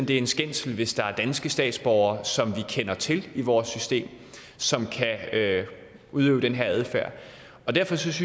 det er en skændsel hvis der er danske statsborgere som vi kender til i vores system som kan udøve denne adfærd derfor synes